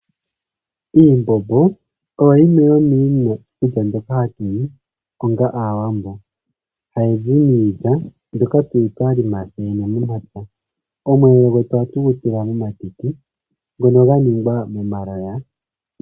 Iimbombo oyo yimwe yomiikulya mbyoka hatu li onga Aawambo hayi zi miilya mbyoka tu li twa lima tseyene momapya. Omweelelo gwetu ohatu gu tul amomatiti ngono ga ningwa momaloya.